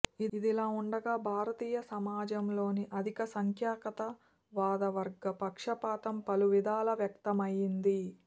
ఇదిలా వుండగా భారతీయ సమాజంలోని అధిక సంఖ్యాకతా వాద వర్గ పక్షపాతం పలు విధాల వ్యక్తమయింది